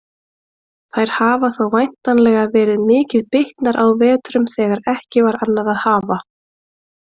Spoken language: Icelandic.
Þær hafa þó væntanlega verið mikið bitnar á vetrum þegar ekki var annað að hafa.